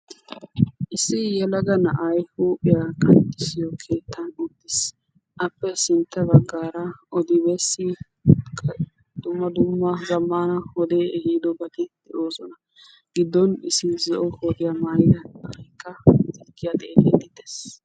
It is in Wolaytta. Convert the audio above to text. Issi yelaga na'ay huuphphiyaa qanxxisiyo keettan de'ees. Appe sintta baggaara oddi besi dumma dumma zammaana wode ehidobati de'osona. Giddon issi zo'uwaa maayidagekka ya xeellidi de'ees.